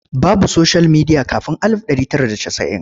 Babu soshiyal midiya kafin alif ɗari tara da casa'in.